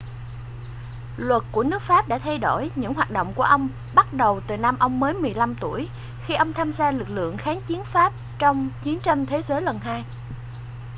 luật của nước pháp đã thay đổi những hoạt động của ông bắt đầu từ năm ông mới 15 tuổi khi ông tham gia lực lượng kháng chiến pháp trong chiến tranh thế giới lần 2